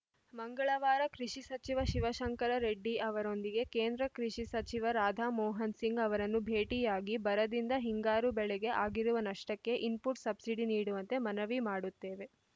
ಮಂಗಳವಾರ ಕೃಷಿ ಸಚಿವ ಶಿವಶಂಕರ ರೆಡ್ಡಿ ಅವರೊಂದಿಗೆ ಕೇಂದ್ರ ಕೃಷಿಸಚಿವ ರಾಧಾ ಮೋಹನ್‌ ಸಿಂಗ್‌ ಅವರನ್ನು ಭೇಟಿಯಾಗಿ ಬರದಿಂದ ಹಿಂಗಾರು ಬೆಳೆಗೆ ಆಗಿರುವ ನಷ್ಟಕ್ಕೆ ಇನ್‌ಪುಟ್‌ ಸಬ್ಸಿಡಿ ನೀಡುವಂತೆ ಮನವಿ ಮಾಡುತ್ತೇವೆ